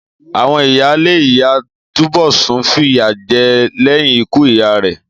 Àwon ìyáálé ìyá Túnbòsún fìyà jé é léyìn ikú ìyá rè